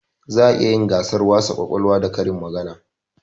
Za a iya yin gasar wasa kwakwalwa da karin magana